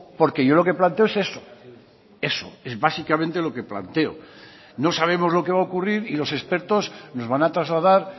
porque yo lo que planteo es eso eso es básicamente lo que planteo no sabemos lo que va a ocurrir y los expertos nos van a trasladar